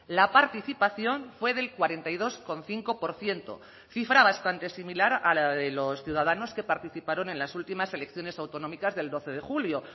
la participación fue del cuarenta y dos coma cinco por ciento cifra bastante similar a la de los ciudadanos que participaron en las últimas elecciones autonómicas del doce de julio